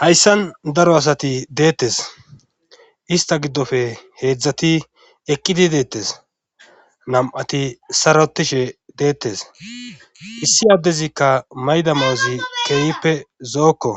hayssan daro asati deettes ista giddofe heedzdzati eqqidi deettes nam7ati sarotishe deettes issi addezikka mayda maazi keeyippe zookko